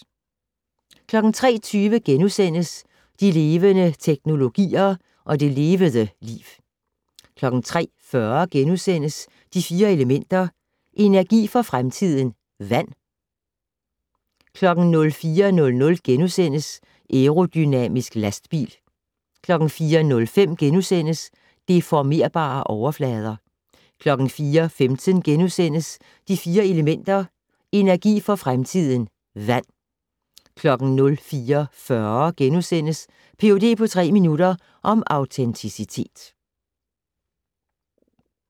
03:20: De levende teknologier - og det levede liv * 03:40: De Fire Elementer - energi for fremtiden: Vand * 04:00: Aerodynamisk lastbil * 04:05: Deformerbare overflader * 04:15: De Fire Elementer - energi for fremtiden: Vand * 04:40: Ph.d. på tre minutter - om autenticitet *